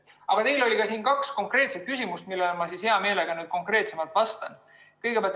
Aga teil oli ka kaks konkreetset küsimust, millele ma hea meelega konkreetsemalt vastan.